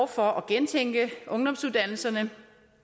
for at gentænke ungdomsuddannelserne